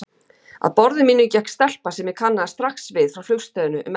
Að borði mínu gekk stelpa sem ég kannaðist strax við frá flugstöðinni um eftirmiðdaginn.